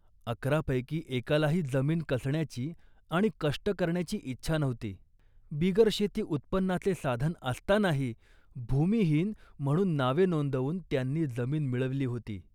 अकरापैकी एकालाही जमीन कसण्याची आणि कष्ट करण्याची इच्छा नव्हती. बिगर शेती उत्पन्नाचे साधन असतानाही भूमिहीन म्हणून नावे नोंदवून त्यांनी जमीन मिळवली होती